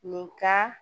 Nin ka